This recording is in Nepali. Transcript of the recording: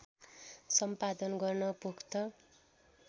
सम्पादन गर्न पोख्त